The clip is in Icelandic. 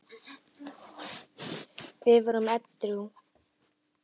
Við vorum edrú.